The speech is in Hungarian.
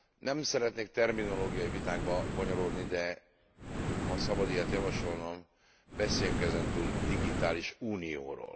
Nem szeretnék terminológiai vitákba bonyolódni, de ha szabad ilyet javasolnom, beszéljünk ezentúl digitális unióról.